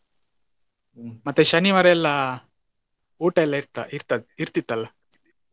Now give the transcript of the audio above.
ಮತ್ತೆ ಶನಿವಾರ ಎಲ್ಲ ಊಟ ಎಲ್ಲ ಇರ್ತ~ ಇರ್ತದ~ ಇರ್ತಿತ್ತಲ್ಲಾ.